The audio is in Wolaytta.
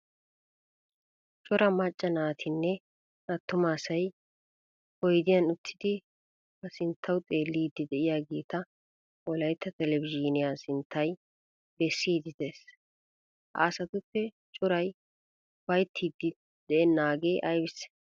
Cora macca naatinne attuma asay oyddiyan uttidi ha sinttawu xeelidi deiyageta wolaytta televzhiniyaa sinttay bessidi de'ees. Ha asaatuppe coray ufayttidi de'enagee aybisse?